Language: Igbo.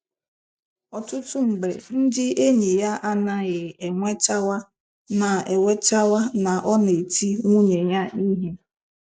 Ọtụtụ mgbe ndị enyi ya anaghị enwetaw na enwetaw na ọ na-eti nwunye ya ihe.